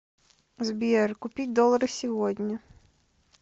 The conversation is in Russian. сбер купить доллары сегодня